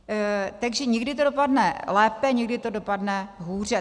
Takže někdy to dopadne lépe, někdy to dopadne hůře.